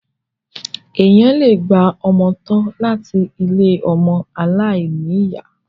Èèyàn le gba ọmọ tọ́ láti ilé ọmọ aláìní ìyá.